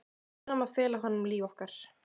Við verðum að fela honum líf okkar.